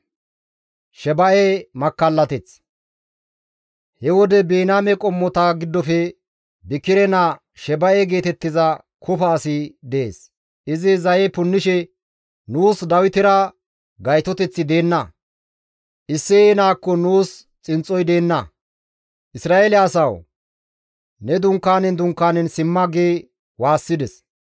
He wode Biniyaame qommota giddofe Bikire naa Sheba7e geetettiza kofa asi dees; izi zaye punnishe, «Nuus Dawitera gaytoteththi deenna; Isseye naakkon nuus xinxxoy deenna; Isra7eele asawu! Ne dunkaanen dunkaanen simma!» gi waassides.